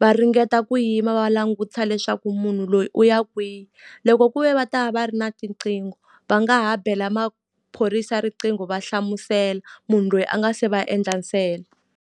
va ringeta ku yima va langutisa leswaku munhu loyi u ya kwihi. Loko ku ve va ta va va ri na tiqingho, va nga ha bela maphorisa riqingho va hlamusela munhu loyi a nga se va endla ntsena.